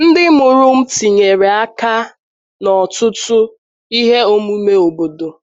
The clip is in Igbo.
Ndị mụrụ m tinyere aka n’ọtụtụ ihe omume obodo.